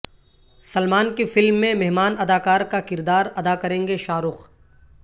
سلمان کی فلم میں مہمان اداکار کا کردار ادا کریں گے شاہ رخ